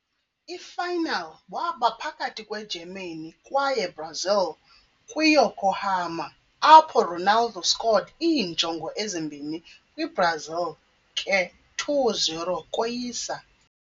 I - final waba phakathi kwe-Germany kwaye Brazil kwi - Yokohama, apho Ronaldo scored iinjongo ezimbini kwi-Brazil ke 2-0 koyisa.